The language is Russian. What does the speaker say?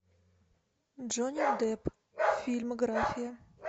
джонни депп фильмография